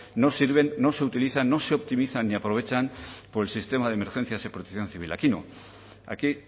no sirven no se utilizan no se optimizan y aprovechan por el sistema de emergencias y protección civil aquí no aquí